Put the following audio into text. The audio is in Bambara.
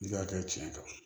N'i ka kɛ tiɲɛ kan